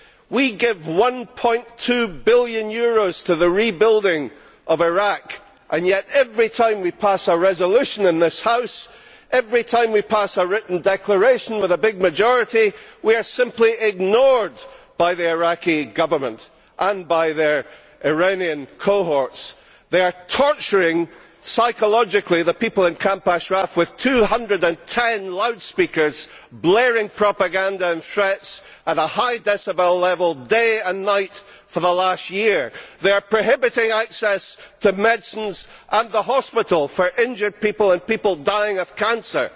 We give EUR 1.2 billion to the rebuilding of Iraq and yet, every time we pass a resolution in this House, every time we pass a written declaration with a big majority, we are simply ignored by the Iraqi Government and by their Iranian cohorts. They are psychologically torturing the people in Camp Ashraf with 210 loudspeakers blaring propaganda and threats at a high decibel level day and night for the last year. They are prohibiting access to medicines and the hospital for injured people and people dying of cancer.